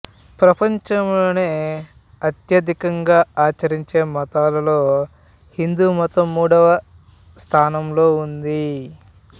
ప్రపంచంలో అత్యధికంగా ఆచరించే మతాలలో హిందూమతం మూడవ స్థానంలో ఉంది